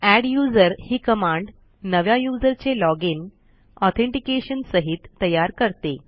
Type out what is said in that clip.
adduser ही command नव्या user चे लॉजिन ऑथेंटिकेशन सहित तयार करते